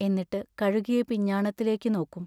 എന്നിട്ടു കഴുകിയ പിഞ്ഞാണത്തിലേക്കു നോക്കും.